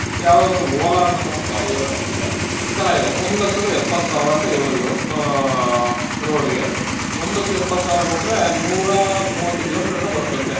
ಯಾವ್ದೋ ಒಂದು Ola ಅಂತನೋ ಒಂದು ಗಾಡಿಗಳನ್ನ್ ನೋಡ್ದೆ ಚೆನ್ನಾಗಿದೆ ಒಂದ್ ಲಕ್ಷದ ಎಪ್ಪತ್ಸಾವ್ರ ಅಂತ ಹೇಳುದ್ರು ಆಹ್ road ಗೆ ಒಂದ್ ಲಕ್ಷದ ಎಪ್ಪತ್ಸಾವ್ರ ಕೊಟ್ರೆ ನೂರಾ ಮೂವತ್ತು kilometer ಏನೋ ಬರುತ್ತಂತೆ.